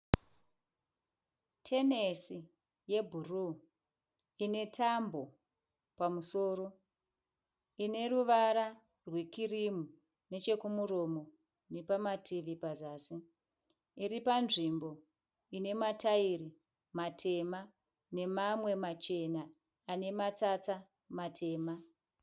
Tenesi yebhuruu ine tambo pamusoro, ine ruvara rwekirimu neche kumuromo nepama tivi pazasi. Iri panzvimbo ine mataira matema nemamwe machena ane matsatsa matema.